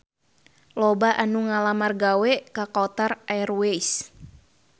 Loba anu ngalamar gawe ka Qatar Airways